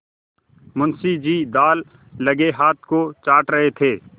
मुंशी जी दाललगे हाथ को चाट रहे थे